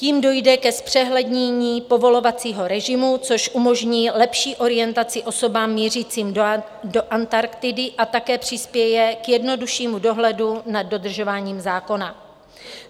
Tím dojde ke zpřehlednění povolovacího režimu, což umožní lepší orientaci osobám mířícím do Antarktidy a také přispěje k jednoduššímu dohledu nad dodržováním zákona.